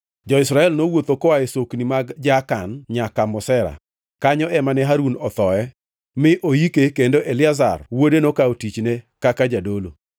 (Jo-Israel nowuotho koa e sokni mag Jaakan nyaka Mosera; kanyo ema ne Harun othoe mi oike kendo Eliazar wuode nokawo tichne kaka jadolo.